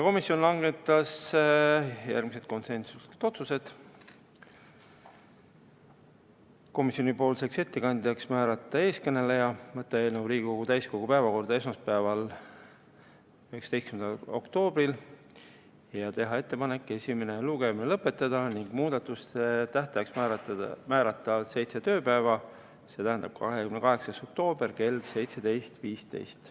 Komisjon langetas järgmised konsensuslikud otsused: määrata komisjoni nimel ettekandjaks eeskõneleja, võtta eelnõu Riigikogu täiskogu päevakorda esmaspäevaks, 19. oktoobriks ja teha ettepanek esimene lugemine lõpetada ning määrata muudatusettepanekute tähtajaks seitse tööpäeva, st 28. oktoober kell 17.15.